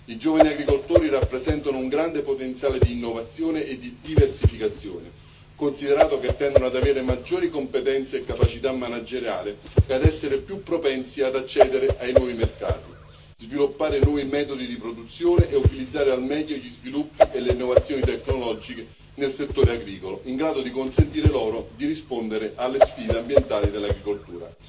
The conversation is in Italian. I giovani agricoltori rappresentano un grande potenziale di innovazione e di diversificazione, considerato che tendono ad avere maggiori competenze e capacità manageriali e ad essere più propensi ad accedere ai nuovi mercati, sviluppare nuovi metodi di produzione e utilizzare al meglio gli sviluppi e le innovazioni tecnologiche nel settore agricolo, in grado di consentire loro di rispondere alle sfide ambientali dell'agricoltura.